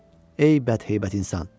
Ey bədheybət insan!